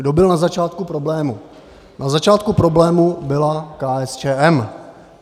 Kdo byl na začátku problému - na začátku problému byla KSČM.